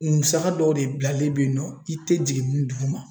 Musaka dɔw de bilalen bɛ yen nɔ i tɛ jigin min duguma